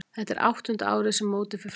Þetta er áttunda árið sem mótið fer fram.